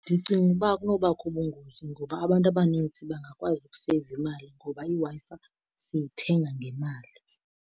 Ndicinga ukuba akunobakho bungozi, ngoba abantu abanintsi bangakwazi ukuseyiva imali ngoba iWi-Fi siyithenga ngemali.